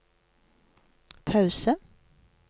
pause